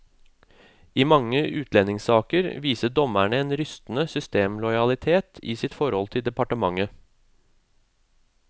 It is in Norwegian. I mange utlendingssaker viser dommerne en rystende systemlojalitet i sitt forhold til departementet.